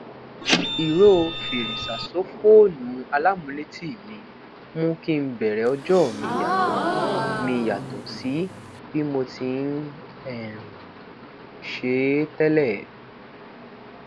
iro feresasofoonu alamuleti mi mu ki n bẹrẹ ọjọ mi yàtò mi yàtò sí bi mo tií um ṣe e tẹlẹ